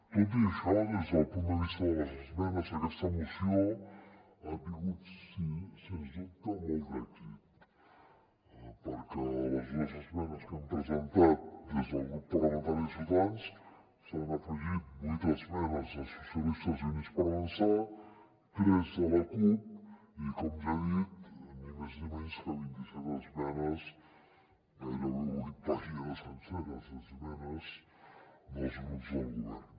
tot i això des del punt de vista de les esmenes aquesta moció ha tingut sens dubte molt d’èxit perquè a les dues esmenes que hem presentat des del grup parla·mentari de ciutadans s’hi han afegit vuit esmenes de socialistes i units per avan·çar tres de la cup i com ja he dit ni més ni menys que vint·i·set esmenes gairebé vuit pàgines senceres d’esmenes dels grups del govern